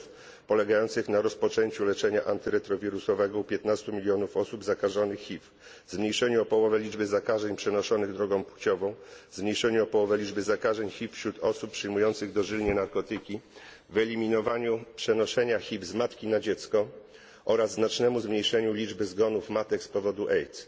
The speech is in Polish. celów, polegających na rozpoczęciu leczenia antyretrowirusowego u 15 milionów osób zakażonych HIV, zmniejszeniu o połowę liczby zakażeń przenoszonych drogą płciową, zmniejszeniu o połowę liczby zakażeń HIV wśród osób przyjmujących dożylnie narkotyki, wyeliminowaniu przenoszenia HIV z matki na dziecko oraz znacznemu zmniejszeniu liczby zgonów matek z powodu AIDS.